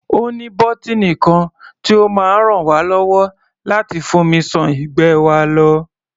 Ó ní bọ́tíìnì kan tí ó máa ràn wá lọ́wọ́ láti fomi ṣan ìgbẹ́ wa lọ.